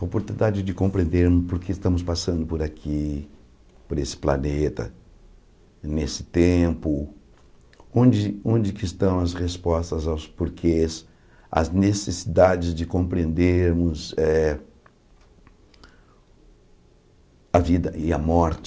A oportunidade de compreendermos por que estamos passando por aqui, por esse planeta, nesse tempo, onde onde que estão as respostas aos porquês, as necessidades de compreendermos eh a vida e a morte.